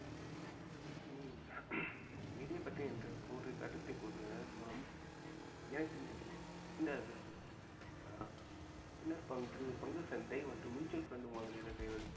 நிதியைப் பற்றி இன்று கூறு கருத்தை கூறுவது மூலம் எனக்கு இந்த ஆஹ் பங்கு சந்தை மற்றும் mutual fund முதலீடு செய்வதற்கு